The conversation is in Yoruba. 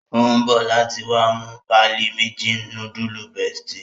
O n bọ láti wá mú páálí méjì nudulu bestie